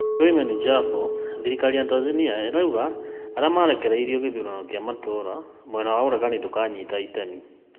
Selemani Jafo: thirikari ya Tanzania ĩrauga arĩa marekereirio gĩthurano kĩa matũra, mwena wa ũregani kuuga ndũkanyita itemi